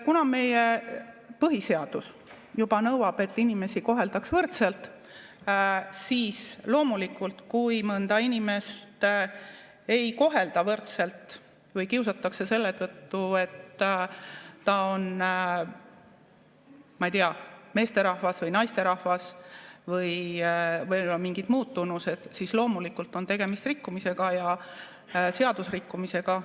Kuna meie põhiseadus juba nõuab, et inimesi koheldaks võrdselt, siis loomulikult, kui mõnda inimest ei kohelda võrdselt või kiusatakse selle tõttu, et ta on, ma ei tea, meesterahvas või naisterahvas või on mingid muud, siis loomulikult on tegemist rikkumisega ja seadusrikkumisega.